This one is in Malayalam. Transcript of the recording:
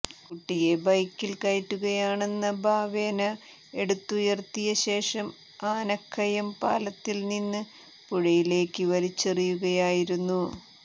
കുട്ടിയെ ബൈക്കിൽ കയറ്റുകയാണെന്ന ഭാവേന എടുത്തുയർത്തിയ ശേഷം ആനക്കയം പാലത്തിൽനിന്ന് പുഴയിലേക്ക് വലിച്ചെറിയുകയായിരുന്നു